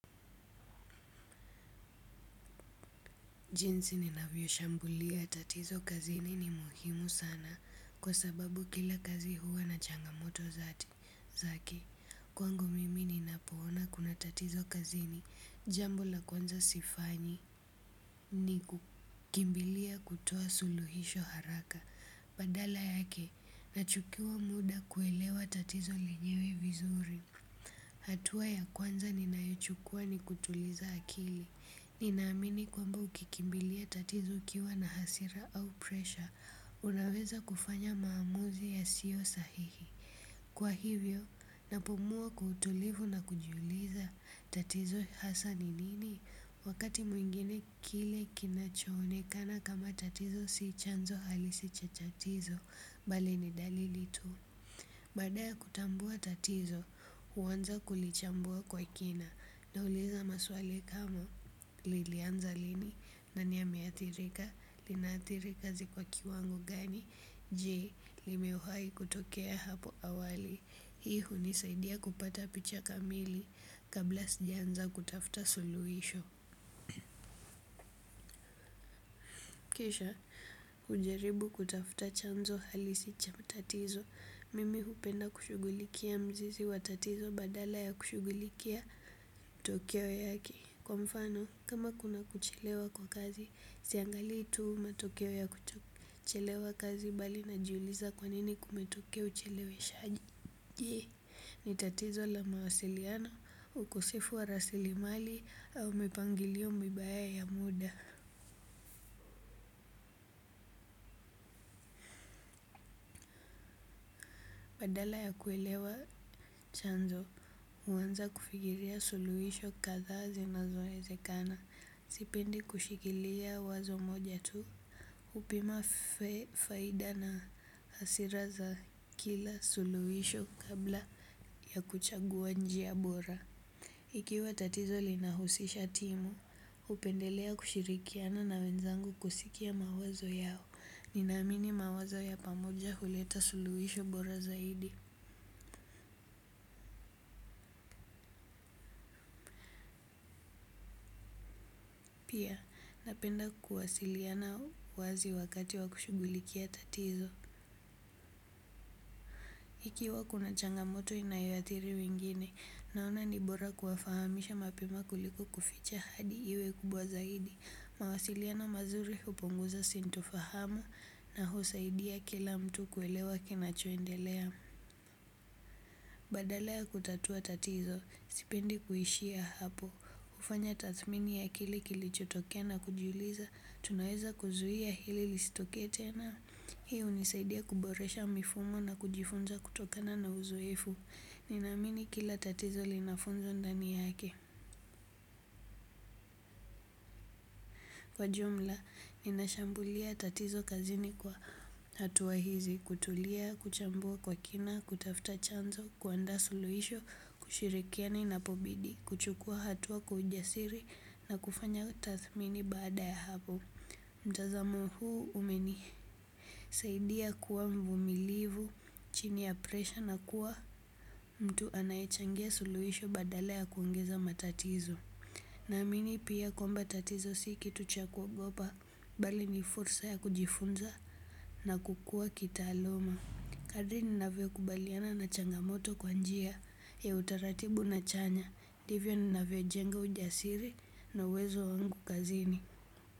Jinsi ninavyo shambulia tatizo kazini ni muhimu sana kwa sababu kila kazi huwa na changamoto zati zaki. Kwangu mimi ninapoona kuna tatizo kazini jambo la kwanza sifanyi ni kukimbilia kutoa suluhisho haraka badala yake nachukua muda kuelewa tatizo lenyewe vizuri. Hatua ya kwanza ninayo chukua ni kutuliza akili. Ninaamini kwamba ukikimbilia tatizo ukiwa na hasira au presha. Unaweza kufanya maamuzi yasiyo sahihi. Kwa hivyo, napumua kwa utulivu na kujiuliza tatizo hasa ni nini? Wakati mwingine kile kinacho onekana kama tatizo si chanzo halisi cha tatizo bali ni dalili tu. Badaya kutambua tatizo, uwanza kulichambua kwa kina. Nauliza maswali kama lilianza lini nani ameathirika, linathiri kazi kwa kiwango gani, je, limewahai kutokea hapo awali. I hunisaidia kupata picha kamili kabla sijaanza kutafuta suluisho. Kisha, ujaribu kutafuta chanzo halisi cha mtatizo, mimi hupenda kushugulikia mzizi wa tatizo badala ya kushugulikia tokewo yaki. Kwa mfano kama kuna kuchelewa kwa kazi siangalii tu matokeo ya kuchelewa kazi bali najiuliza kwa nini kumetokea ucheleweshaji, je, ni tatizo la mawasiliano, ukosefu wa rasilimali au mipangilio mibaya ya muda. Badala ya kuelewa chanzo, uwanza kufigiria suluhisho katha zinazo ezekana. Sipendi kushikilia wazo moja tu. Upima faida na hasira za kila suluhisho kabla ya kuchagua njia bora. Ikiwa tatizo linahusisha timu upendelea kushirikiana na wenzangu kusikia mawazo yao. Ninamini mawazo ya pamoja huleta suluhisho bora zaidi. Pia napenda kuwasiliana wazi wakati wa kushugulikia tatizo. Ikiwa kuna changamoto inayoathiri wengine, naona nibora kuwafahamisha mapema kuliko kuficha hadi iwe kubwa zaidi. Mawasiliana mazuri huponguza sinto fahamu na husaidia kila mtu kuelewa kinacho endelea. Badala ya kutatua tatizo, sipendi kuishia hapo. Ufanya tathmini ya kile kilichotokea na kujiuliza, tunaweza kuzuia hili listokee tena. Hi unisaidia kuboresha mifumo na kujifunza kutokana na uzoefu. Ninamini kila tatizo lina funzo ndani yake. Kwa jumla, ninashambulia tatizo kazini kwa hatua hizi. Kutulia, kuchambua kwa kina, kutafta chanzo, kuandaa suluhisho, kushirikiana ina pobidi. Kuchukua hatuwa kwa ujasiri na kufanya tathmini baada ya hapo. Mtazamo huu umenihi. Saidia kuwa mvumilivu, chini ya presha na kuwa mtu anayechangia suluhisho badala ya kuongeza matatizo namini pia tatizo si kitu cha kuogopa bali ni fursa ya kujifunza na kukuwa kitaaluma. Kadiri ninavyo kubaliana na changamoto kwa njia, ya utaratibu na chanya, divyo ninavyo jenga ujasiri na uwezo wangu kazini.